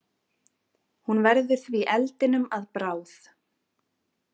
Hún verður því eldinum að bráð.